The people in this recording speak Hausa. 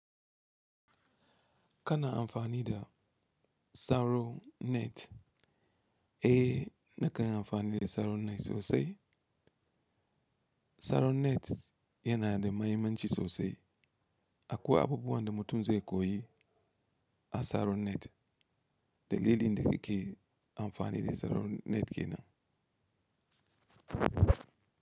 Kana amfani da Saronet, eh da kai amfani da Saronet sosai. Saronet yana da mahimmanci sosai. Akwai abubuwan da mutum zai koyi a Saronet da lili da nike amfani da Saronet kenan.